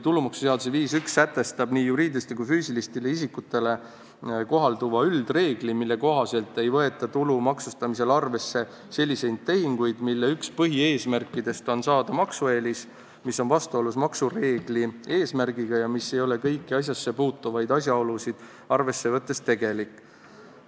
Tulumaksuseaduse § 51 sätestab nii juriidilistele kui ka füüsilistele isikutele kohalduva üldreegli, mille kohaselt ei võeta tulu maksustamisel arvesse selliseid tehinguid, mille üks põhieesmärkidest on saada maksueelis, mis on vastuolus maksureegli eesmärgiga ja mis ei ole kõiki asjasse puutuvaid asjaolusid arvesse võttes tegelik.